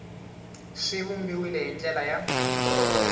swi vumbiwile hi ndlela ya